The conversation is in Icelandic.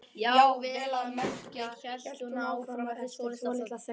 Já, vel að merkja, hélt hún áfram eftir svolitla þögn.